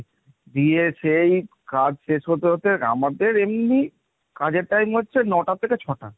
দিয়ে সেই কাজ শেষ হতে হতে আমাদের এমনি কাজের time হচ্ছে ন'টা থেকে ছ'টা।